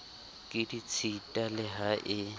ke ditshita le ha e